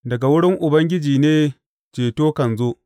Daga wurin Ubangiji ne ceto kan zo.